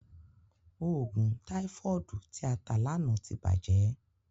Òògùn táífọ̀dù tí a tà lánàá ti bàjẹ́.